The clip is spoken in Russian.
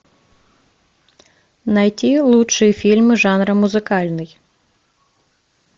найти лучшие фильмы жанра музыкальный